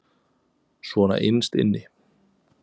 Svona innst inni.